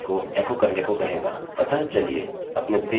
और यह फाइल के कंटेंट्स को एकोecho करने कहेगा